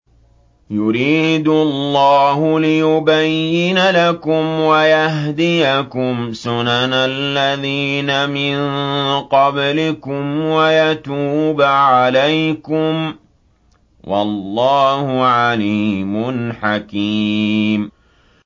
يُرِيدُ اللَّهُ لِيُبَيِّنَ لَكُمْ وَيَهْدِيَكُمْ سُنَنَ الَّذِينَ مِن قَبْلِكُمْ وَيَتُوبَ عَلَيْكُمْ ۗ وَاللَّهُ عَلِيمٌ حَكِيمٌ